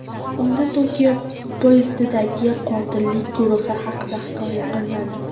Unda Tokio poyezdidagi qotillik guruhi haqida hikoya qilinadi.